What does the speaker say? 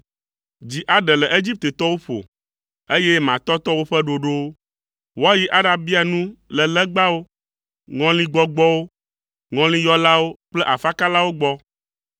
Dzi aɖe le Egiptetɔwo ƒo, eye matɔtɔ woƒe ɖoɖowo. Woayi aɖabia nu le legbawo, ŋɔligbɔgbɔwo, ŋɔliyɔlawo kple afakalawo gbɔ.